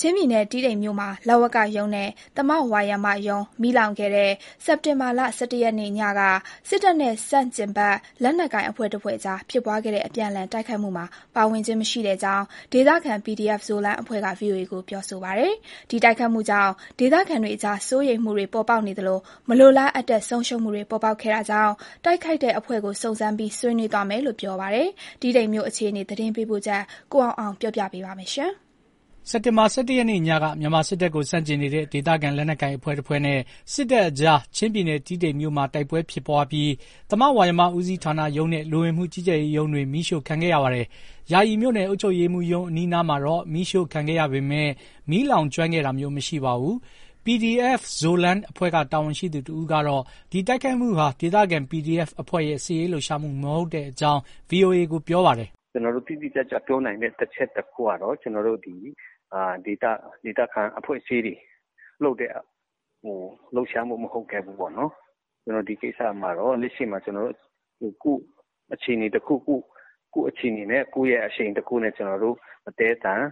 ချင်းပြည်နယ်တီးတိန်မြို့မှာ လဝကရုံးနဲ့သမဝါယမရုံး မီးလောင်ခဲ့တဲ့ အောက်တိုဘာလ ၁၁ ရက်နေ့ည က စစ်တပ်နဲ့ဆန့်ကျင်ဘက် လက်နက်ကိုင်အဖွဲ့တဖွဲ့ကြားက အပြန်အလှန်တိုက်ခိုက်မှုမှာ ပါဝင်ခြင်းမရှိကြောင်း ဒေသခံ PDF Zoland အဖွဲ့က VOA ကို ပြောပါတယ်။ ဒီတိုက်ခိုက်မှုကြောင့် ဒေသခံတွေကြား စိုးရိမ်မှုတွေ ပေါ်ပေါက်နေသလို မလိုလားအပ်တဲ့ ဆုံးရှုံးမှုတွေ ပေါ်ပေါက်ခဲ့တာကြောင့် တိုက်ခိုက်တဲ့အဖွဲ့ကိုစုံစမ်းပြီး ဆွေးနွေးသွားမယ်လို့ ပြောပါတယ်။ တီးတိန်မြို့အခြေအနေ ရန်ကုန်ကလာတဲ့ သတင်းပေးပို့ချက်ကို ကိုအောင်အောင်က တင်ပြပါမယ်။ အောက်တိုဘာလ ၁၁ ရက်နေ့ ညက မြန်မာစစ်တပ်ကိုဆန့်ကျင်နေတဲ့ ဒေသခံ လက်နက်ကိုင် အဖွဲ့တဖွဲ့နဲ့စစ်တပ်ကြား ချင်းပြည်နယ် တီးတိန်မြို့မှာ တိုက်ပွဲဖြစ်ခဲ့ပြီး သမဝါယမဦးစီးဌာနရုံးနဲ့ လူဝင်မှုကြီးကြပ်ရေးရုံးတွေ မီးရှို့ခံခဲ့ရပါတယ်။ ယာယီမြို့နယ် အုပ်ချုပ်ရေးမှူးရုံးအနားမှာ မီးရှို့ခံခဲ့ရပေမယ့် မီးလောင်ကျွမ်းခဲ့ခြင်း မရှိပါဘူး။ PDF Zoland အဖွဲ့က တာဝန်ရှိသူတဦးကေ ဒီတိုက်ခိုက်မှုဟာ ဒေသခံ PDF အဖွဲ့ရဲ့ စစ်ရေးလှုပ်ရှားမှုမဟုတ်ကြောင်း VOA ကို ပြောပါတယ်။ “ကျနော်တို့ တိတိကျကျပြောနိုင်တဲ့အချက်တခုကတော့ ကျနော်တို့ ဒေသခံအဖွဲ့အစည်းတွေ လုပ်တဲ့လှုပ်ရှားမှု မဟုတ်ခဲ့ဘူးပေါ့။ ဒီကိစ္စမှာ လက်ရှိမှာ အခြေအနေတခုခု ကိုယ့်ရဲ့အခြေအနေနဲ့ ကိုယ့်ရဲ့အရှိန်တခုနဲ့ ကျနော်တို့အသည်းအသန်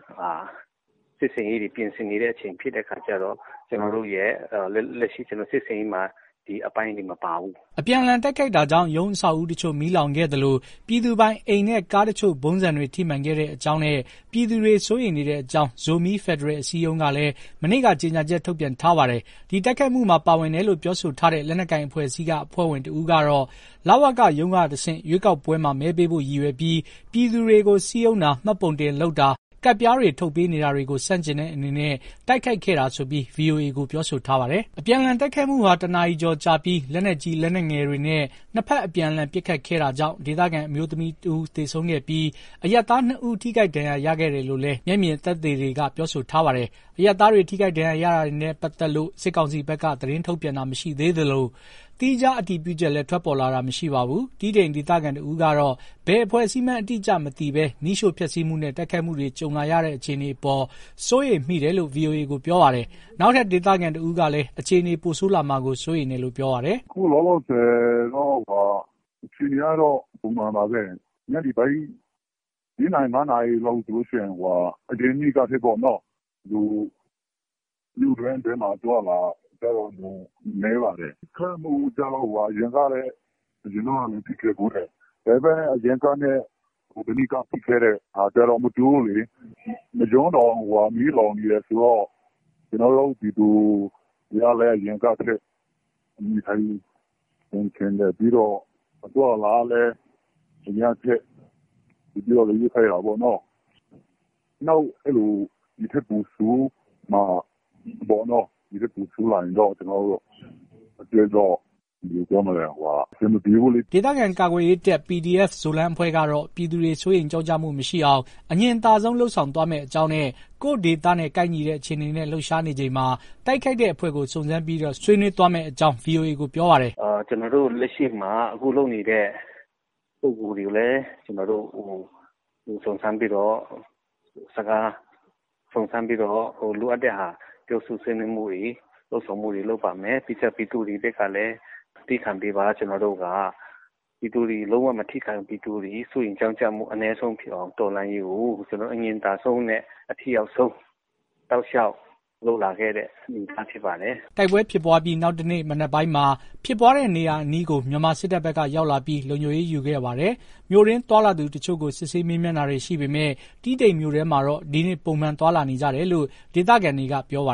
စစ်ဆင်ရေးတွေပြင်ဆင်နေတဲ့အချိန်ဖြစ်တဲ့အခါကျတော့ လက်ရှိစစ်ဆင်ရေးမှာ ဒီအပိုင်းတွေမပါဘူး။” အပြန်အလှန် တိုက်ခိုက်မှုကြောင့် ရုံးအဆောက်အဦးတချို့ မီးလောင်ခဲ့သလို ပြည်သူပိုင်အိမ်နဲ့ ကားတချို့ ဗုံးဆံတွေ ထိမှန်ခဲ့ကြောင်းနဲ့ ပြည်သူတွေ စိုးရိမ်နေတဲ့အကြောင်း ဇိုမီး ဖက်ဒရယ်အစည်းအရုံးကလည်း မနေ့က ကြေညာချက် ထုတ်ပြန် ထားပါတယ်။ ဒီတိုက်ခိုက်မှုမှာ ပါဝင်တယ်လို့ ပြောဆိုထားတဲ့ လက်နက်ကိုင် အဖွဲ့အစည်းက အဖွဲ့ဝင်တဦးကတော့ လဝကရုံးကတဆင့် ရွေးကောက်ပွဲမှာ မဲပေးဖို့ ရည်ရွယ်ပြီး ပြည်သူတွေကို စည်းရုံးတာ၊ မှတ်ပုံတင်လုပ်တာ၊ ကဒ်ပြားတွေ ထုတ်ပေးနေတာတွေကို ဆန့်ကျင်တဲ့အနေနဲ့ တိုက်ခိုက်ခဲ့တာဆိုပြီး VOA ကို ပြောဆိုထားပါတယ်။ အပြန်အလှန် တိုက်ခိုက်မှုဟာ ၁ နာရီ ကျော်ကြာပြီး လက်နက်ကြီး လက်နက်ငယ်တွေနဲ့ နှစ်ဖက် အပြန်အလှန် ပစ်ခတ်ခဲ့တာကြောင့် ဒေသခံအမျိုးသမီးတဦးသေဆုံးခဲ့ပြီး အရပ်သား ၂ ဦး ထိခိုက်ဒဏ်ရာရခဲ့တယ်လို့လည်း မျက်မြင်သက်သေတွေက ပြောဆိုထားပါတယ်။ အရပ်သားတွေ ထိခိုက်ဒဏ်ရာရတာတွေနဲ့ ပတ်သက်လို့ စစ်ကောင်စီဘက်က သတင်းထုတ်ပြန်တာမရှိသေးသလို သီးခြား အတည်ပြုချက်လည်း ထွက်ပေါ်လာတာ မရှိပါဘူး။ တီးတိန်ဒေသခံတဦးကတော့ ဘယ်အဖွဲ့အစည်းမှန်း အတိအကျမသိဘဲ မီးရှို့ ဖျက်ဆီးမှုနဲ့ တိုက်ခိုက်မှုတွေ ကြုံလာရတဲ့ အခြေအနေအပေါ် စိုးရိမ်မိတယ်လို့ VOA ကို ပြောပါတယ်။ နောက်ထပ် ဒေသခံတဦးကလည်း အခြေအနေ ပိုဆိုးလာမှာကို စိုးရိမ်တယ်လို့ ပြောပါတယ်။ “အခုလောလောဆယ်ကတော့ အခြေအနေကတော့ ပုံမှန်ပါပဲ။ ညနေပိုင်း လေးနာရီ၊ ငါးနာရီလောက်ဆိုလို့ရှိရင် အရင်နေ့ကထက် လူအသွားအလာတော်တော်ကို နည်းပါတယ်။.....အရင်တုန်းကလည်း ဖြစ်ခဲ့ဖူးတယ်။.......အရင်ကဖြစ်ခဲ့တာနဲ့ မတူဘူးလေ။ ရုံးတောင် မီးလောင်နေတယ်ဆိုတော့....ပြီးတော့ အသွားအလာကလည်း အရမ်းခက်....နောက် ဒိထက်ပိုဆိုးမှာ - ဒိထက်ပိုဆိုးလာရင်တော့ ကျနော်တို့ အတွက်တော့ အဆင်မပြေဘူးလေ။” ဒေသခံ ကာကွယ်ရေးတပ် PDF Zoland အဖွဲ့ကတော့ ပြည်သူတွေ စိုးရိမ်ကြောင့်ကြမှု မရှိအောင် အငြင်သာဆုံးလုပ်ဆောင်သွားမယ့်အကြောင်းနဲ့ ကိုယ့်ဒေသနဲ့ ကိုက်ညီတဲ့ အခြေအနေနဲ့ လှုပ်ရှားနေချိန်မှာ တိုက်ခိုက်တဲ့အဖွဲ့ကို စုံစမ်းပြီး ဆွေးနွေးသွားမယ့်အကြောင်း VOA ကို ပြောပါတယ်။ “ကျနော်တို့လက်ရှိမှာ အခုလုပ်နေတဲ့ ပုဂ္ဂိုလ်တွေကိုလည်း ကျနော်တို့စုံစမ်းပြီးတော့ လိုအပ်တဲ့ပြောဆိုဆွေးနွေးမှုတွေ၊ တွေ့ဆုံမှုတွေလုပ်ပါမယ်။ ပြီးတော့ကျ ပြည်သူတွေဘက်ကလည်း သည်းခံပေးပါ။ ကျနော်တို့က ပြည်သူတွေ လုံးဝမထိခိုက်အောင်၊ ပြည်သူတွေ စိုးရိမ်ကြောင့်ကျမှုအနည်းဆုံးဖြစ်အောင် တော်လှန်ရေးကို အငြင်သာဆုံးနဲ့အထိရောက်ဆုံးဖြစ်အောင် အထိရောက်ဆုံး တောက်လျှောက်လုပ်လာခဲ့တဲ့ အနေအထား ဖြစ်ပါတယ်။” တိုက်ပွဲဖြစ်ပွားပြီး နောက်တနေ့ မနက်ပိုင်းမှာ ဖြစ်ပွားတဲ့နေရာအနီးကို မြန်မာစစ်တပ်ဘက်က ရောက်လာပြီး လုံခြုံရေးယူခဲ့ပါတယ်။ မြို့တွင်း သွားလာသူအချို့ကို စစ်ဆေး မေးမြန်းတာတွေ ရှိခဲ့ပေမဲ့ တီးတိန်မြို့ထဲမှာတော့ ဒီနေ့ ပုံမှန်သွားလာနေကြတယ်လို့ ဒေသခံတွေက ပြောပါ